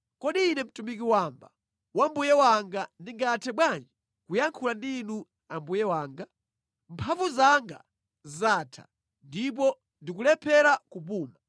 Kodi ine mtumiki wamba wa mbuye wanga ndingathe bwanji kuyankhula ndi inu mbuye wanga? Mphamvu zanga zatha, ndipo ndikulephera kupuma.”